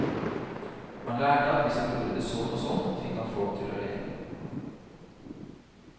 Han lærte at hvis han gjorde sånn og sånn, fikk han folk til å le.